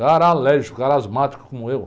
Cara alérgico, cara asmático como eu.